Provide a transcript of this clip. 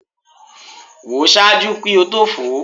Wo ṣaaju ki o to fo